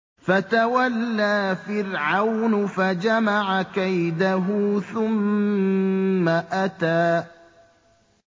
فَتَوَلَّىٰ فِرْعَوْنُ فَجَمَعَ كَيْدَهُ ثُمَّ أَتَىٰ